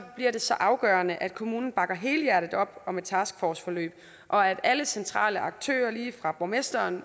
bliver det så afgørende at kommunen bakker helhjertet op om et taskforceforløb og at alle centrale aktører lige fra borgmester